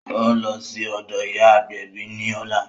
Ó ń lọ sí ọ̀dọ̀ ìyá agbẹ̀bí ní ọ̀la